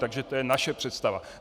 Takže to je naše představa.